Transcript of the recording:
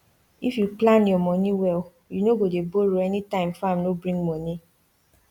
if you plan your money well you no go dey borrow anytime farm no bring money